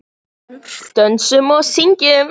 Dönsum og syngjum.